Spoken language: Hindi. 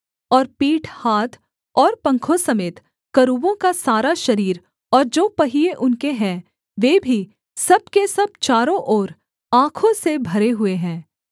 और पीठ हाथ और पंखों समेत करूबों का सारा शरीर और जो पहिये उनके हैं वे भी सब के सब चारों ओर आँखों से भरे हुए हैं